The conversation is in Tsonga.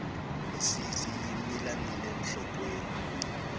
misisi yi mila nile nhlokweni